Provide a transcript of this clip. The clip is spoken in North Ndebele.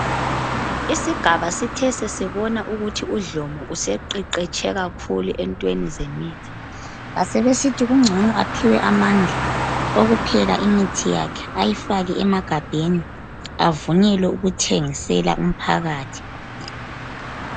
Isigaba sithe sesibonga ukuthi uDlomo useqeqetshe kakhulu enyaweni zemithi basebesithi kungcono aphiwe amandla apheke imithi yakhe ayifake emagabheni avunyelwe ukuthengisela umphakathi.